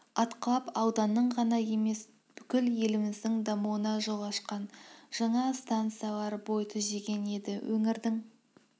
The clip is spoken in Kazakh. атқылап ауданның ғана емес бүкіл еліміздің дамуына жол ашқан жаңа стансалар бой түзеген еді өңірдің